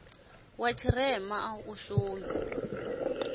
wa tshirema a u shumi